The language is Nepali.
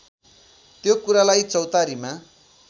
त्यो कुरालाई चौतारीमा